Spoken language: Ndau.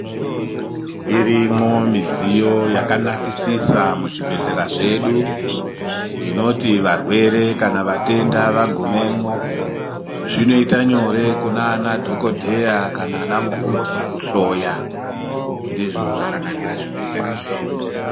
Irimwo midziyo yakanakisisa muzvibhehlera zvedu inoti varwere kana vatenda vagumemwo zvinoita nyore kunanadhokodheya kana ana mukoti kuhloya ndizvo zvakanakira zvibhehlera zvedu.